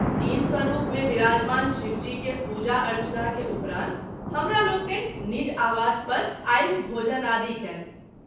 तीन स्वरूप मे विराजमान शिव जी के पूजा अर्चना के उपरान्त हमरालोकनि निज आवास पर आबि भोजनादि कयल।